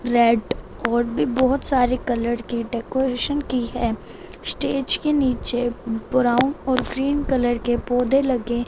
red और भी बहोत सारे कलर की डेकोरेशन की है स्टेज के नीचे ब्राउन और ग्रीन कलर के पौधे लगे--